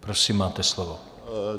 Prosím, máte slovo.